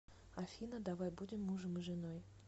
афина давай будем мужем и женой